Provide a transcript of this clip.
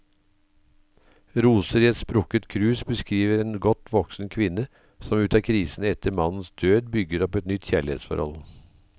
Roser i et sprukket krus beskriver en godt voksen kvinne som ut av krisen etter mannens død, bygger opp et nytt kjærlighetsforhold.